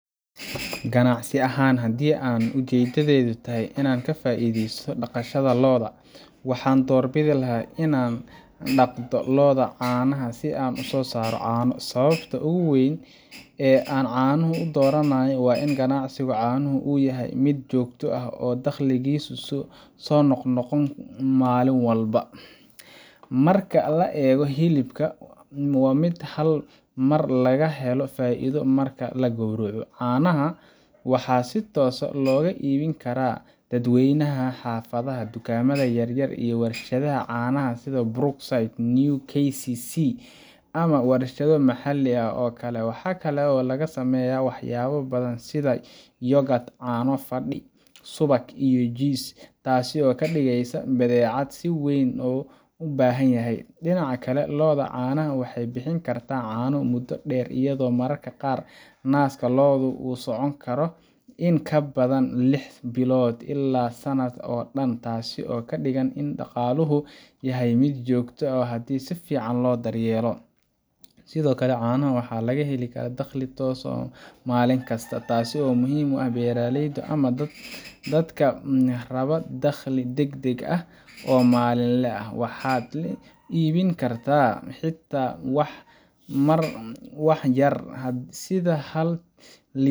Ganacsi ahaan, haddii aan ujeeddadeydu tahay inaan ka faa’iidaysto dhaqashada lo’da, waxaan doorbidi lahaa in aan dhaqdo lo’da caanaha si aan u soo saaro caano. Sababta ugu weyn ee aan caanaha u dooranayo waa in ganacsiga caanuhu uu yahay mid joogto ah oo dakhligiisu soo noqnoqdo maalin walba, marka loo eego hilibka oo ah mid hal mar laga helo faa’iido marka la gowraco. Caanaha waxaa si toos ah looga iibin karaa dadweynaha xaafadda, dukaamada yaryar, ama warshadaha caanaha sida Brookside, New KCC, ama warshado maxalli ah oo kale. Waxaa kale oo laga sameeyaa waxyaabo badan sida yoghurt, caano fadhi, subag, iyo jiis – taas oo ka dhigeysa badeecad si weyn loo baahanyahay. Dhinaca kale, lo’da caanaha waxay bixin kartaa caano muddo dheer, iyadoo mararka qaar naaska lo’da uu socon karo in ka badan lix bilood ilaa sanadka oo dhan, taasoo ka dhigan in dhaqaaluhu yahay mid joogto ah haddii si fiican loo daryeelo. Sidoo kale, caanaha waxaa laga helaa dakhli toos ah maalinkasta, taas oo muhiim u ah beeraleyda ama dadka raba dakhli degdeg ah oo maalinle ah. Waxaad iibin kartaa xitaa wax yar, sida hal